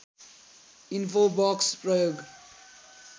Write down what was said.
infobox प्रयोग